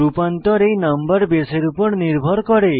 রূপান্তর এই নম্বর বেসের উপর নির্ভর করে